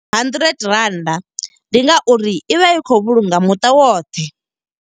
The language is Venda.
Hundred rannda, ndi nga uri i vha i khou vhulunga muṱa woṱhe.